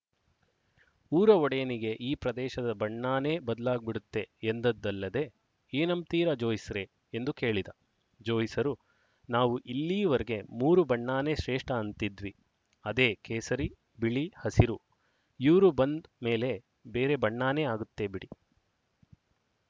ಊರ ಒಡೆಯನಿಗೆ ಈ ಪ್ರದೇಶದ ಬಣ್ಣಾನೇ ಬದ್ಲಾಗ್ ಬಿಡುತ್ತೆ ಎಂದದ್ದಲ್ಲದೆ ಏನಂಬ್ತೀರ ಜೋಯಿಸ್ರೆ ಎಂದು ಕೇಳಿದ ಜೋಯಿಸರು ನಾವು ಇಲ್ಲೀವರ್ಗೆ ಮೂರು ಬಣ್ಣಾನೇ ಶ್ರೇಷ್ಠ ಅಂತಿದ್ವಿಅದೇ ಕೇಸರಿ ಬಿಳಿ ಹಸಿರುಇವ್ರು ಬಂದ್ ಮೇಲೆ ಬೇರೆ ಬಣ್ಣಾನೇ ಆಗುತ್ತೆ ಬಿಡಿ